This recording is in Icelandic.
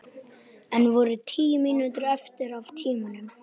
Enn voru tíu mínútur eftir af tímanum.